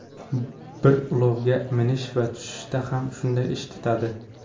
Bir ulovga minish va tushishda ham shunday ish tutadi.